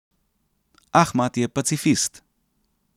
Ahmad je pacifist.